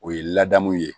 O ye ladamu ye